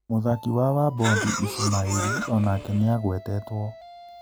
Mũthaki wa Wabondi Ishumaĩri onake nĩagũetetwo.